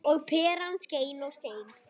Og peran skein og skein.